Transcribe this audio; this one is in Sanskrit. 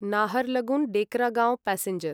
नाहरलगुन् डेकरागाँव् प्यासेँजर्